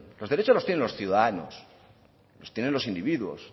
los derechos lo tienen los ciudadanos los tienen los individuos